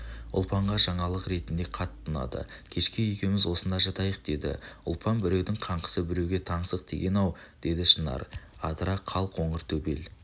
ұлпанға жаңалық ретінде қатты ұнады кешке екеуіміз осында жатайық деді ұлпан біреудің қаңсығы біреуге таңсық деген-ау деді шынар адыра қал қоңыр төбел